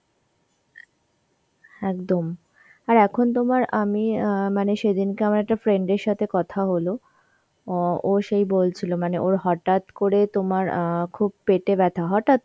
একদম, আর এখন তোমার আমি অ্যাঁ মানে সেদিনকে আমার একটা friend এর সাথে কথা হল অ ও সেই বলছিল মানে ওর হঠাৎ করে তোমার অ্যাঁ খুব পেটে ব্যথা হঠাৎ